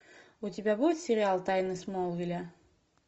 у тебя будет сериал тайны смолвиля